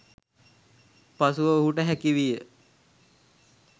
පසුව ඔහුට හැකිවිය